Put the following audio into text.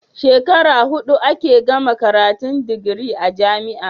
Shekara hudu ake gama karatun digiri a jamia